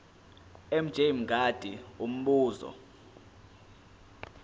mj mngadi umbuzo